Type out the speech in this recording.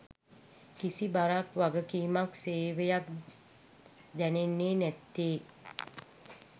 කිසි බරක් වගකීමක් සේවයක් දැනෙන්නේ නැත්තේ